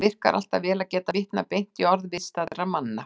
Það virkar alltaf vel að geta vitnað beint í orð viðstaddra manna.